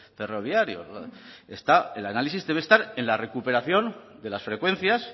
ferroviario está el análisis debe estar en la recuperación de las frecuencias